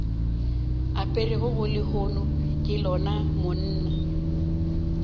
aperego lehono ke lona monna